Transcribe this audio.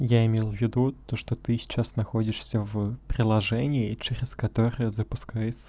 я имел ввиду то что ты сейчас находишься в приложении через которое запускается